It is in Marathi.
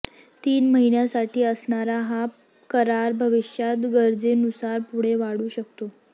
तीन महिन्यांसाठी असणारा हा करार भविष्यात गरजेनुसार पुढे वाढू शकतो